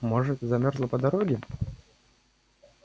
может замёрзла по дороге